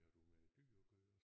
Har du med dyr at gøre?